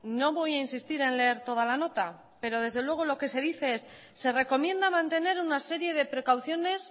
no voy a insistir en leer toda la nota pero desde luego lo que se dice es se recomienda mantener una serie de precauciones